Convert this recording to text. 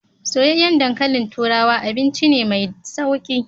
Soyyayen dankalin turawa abinci ne mai sauƙi.